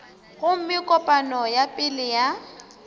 gomme kopano ya pele ya